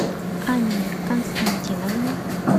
анне константиновне